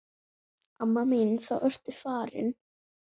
Amma mín þá ertu farin.